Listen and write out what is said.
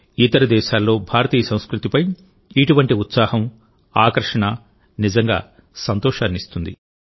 ఇతర దేశాల్లో భారతీయ సంస్కృతిపై ఇటువంటి ఉత్సాహంఆకర్షణ నిజంగా సంతోషాన్నిస్తుంది